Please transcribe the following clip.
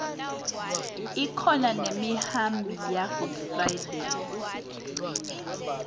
kubakhona nemiunbi yegood friday